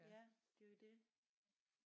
Ja det er jo det